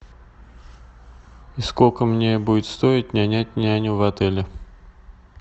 сколько мне будет стоить нанять няню в отеле